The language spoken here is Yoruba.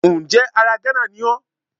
Ǹjẹ́ ara Gánà ni ó